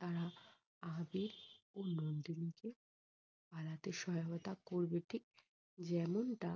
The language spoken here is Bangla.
তারা আবির ও নন্দিনীকে পালতে সহায়তা করবে ঠিক যেমনটা